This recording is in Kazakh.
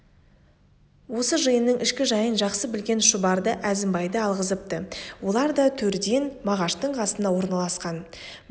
осы жиынның ішкі жайын жақсы білген шұбарды әзімбайды алғызыпты олар да төрден мағаштың қасына орналасқан біз